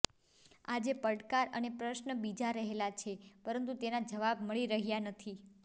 આજે પડકાર અને પ્રશ્ન બીજા રહેલા છે પરંતુ તેના જવાબ મળી રહ્યા નથી